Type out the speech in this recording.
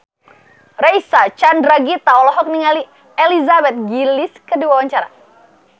Reysa Chandragitta olohok ningali Elizabeth Gillies keur diwawancara